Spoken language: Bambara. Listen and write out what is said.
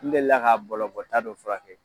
N delila k'a bɔlɔbɔta dɔ furakɛ.